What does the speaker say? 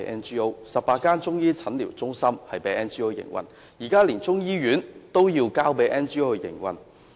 香港有18間中醫診療中心已交給 NGO 營運，現時連中醫醫院也要交給 NGO 營運。